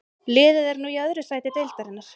Liðið er nú í öðru sæti deildarinnar.